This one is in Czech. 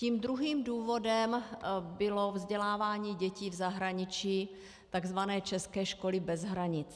Tím druhým důvodem bylo vzdělávání dětí v zahraničí, tzv. české školy bez hranic.